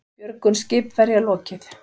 Björgun skipverja lokið